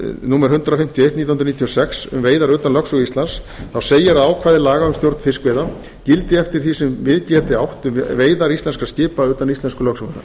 númer hundrað fimmtíu og eitt nítján hundruð níutíu og sex um veiðar utan lögsögu íslands segir að ákvæði laga um stjórn fiskveiða gildi eftir því sem við geti átt um veiðar íslenskra skipa utan íslensku lögsögunnar